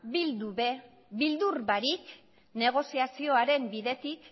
bildu ere beldur barik negoziazioaren bidetik